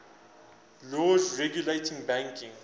laws regulating banking